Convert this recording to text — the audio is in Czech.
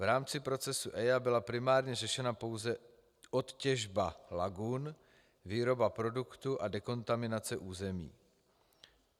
V rámci procesu EIA byla primárně řešena pouze odtěžba lagun, výroba produktu a dekontaminace území.